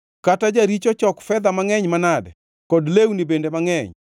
Kata jaricho chok fedha mangʼeny manade, kod lewni bende mangʼeny,